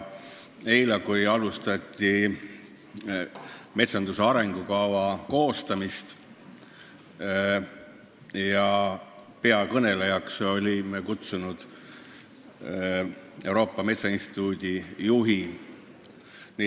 Eile alustati metsanduse arengukava koostamist ja peakõnelejaks olime kutsunud Euroopa Metsainstituudi juhi.